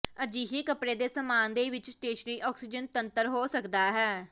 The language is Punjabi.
ਅਜਿਹੇ ਕੱਪੜੇ ਦੇ ਸਾਮਾਨ ਦੇ ਵਿੱਚ ਸਟੇਸ਼ਨਰੀ ਆਕਸੀਜਨ ਤੰਤਰ ਹੋ ਸਕਦਾ ਹੈ